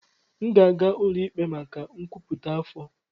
M ga-aga ụlọ ikpe maka nkwupụta afọ.